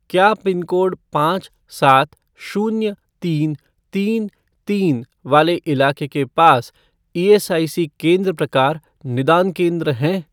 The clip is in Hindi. क्या पिनकोड पाँच सात शून्य तीनतीनतीन वाले इलाके के पास ईएसआईसी केंद्र प्रकार निदान केंद्र हैं?